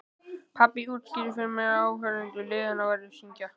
Pabbi útskýrði fyrir mér að áhangendur liðanna væru að syngja.